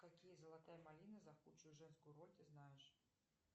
какие золотая малина за худшую женскую роль ты знаешь